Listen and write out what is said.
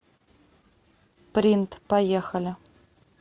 принт поехали